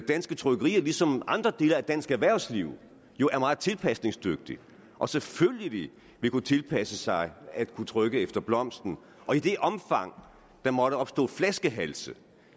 danske trykkerier ligesom andre dele af dansk erhvervsliv jo er meget tilpasningsdygtige og selvfølgelig vil kunne tilpasse sig at kunne trykke efter blomsten og i det omfang der måtte opstå flaskehalse